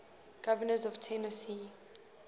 governors of tennessee